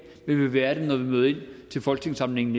vil være det når vi møder ind til folketingssamlingen